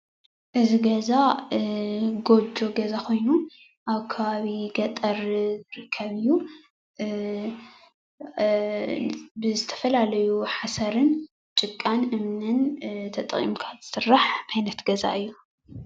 እዚ ገዛ ጎጆ ዝበሃል ኮይኑ ኣብ ከባቢ ገጠር ዝርከብ ኮይኑ ካብ ዝተፈላለዩ ሓሰር፣ ጭቃን እምንን ተጠቂምካ ዝስራሕ ዓይነት ገዛ እዩ፡፡